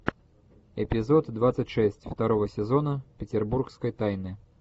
эпизод двадцать шесть второго сезона петербургской тайны